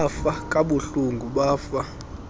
bafa kabuhlungu bafa